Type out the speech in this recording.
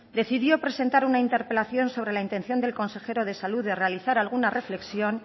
decidió presentar una interpelación sobre la intención del consejero de salud de realizar alguna reflexión